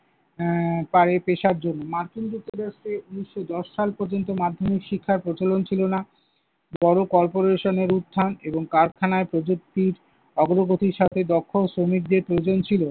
আহ পারে পেশার জন্য। মার্কিন যুক্তরাষ্ট্রে ঊনিশশো দশ সাল পর্যন্ত মাধ্যমিক শিক্ষার প্রচলন ছিল না। বড় corporation এর উত্থান এবং কারখানায় প্রযুক্তির অগ্রগতির সাথে দক্ষ শ্রমিকদের প্রয়োজন ছিল।